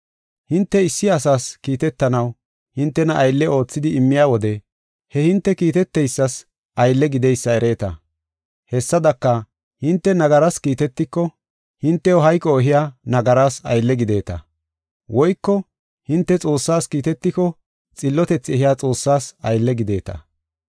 Hinte issi asas kiitetanaw hintena aylle oothidi immiya wode he hinte kiiteteysas aylle gideysa ereeta. Hessadaka, hinte nagaras kiitetiko, hintew hayqo ehiya nagaraas aylle gideeta. Woyko hinte Xoossas kiitetiko xillotethi ehiya Xoossaas aylle gideeta.